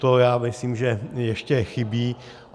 To já myslím, že ještě chybí.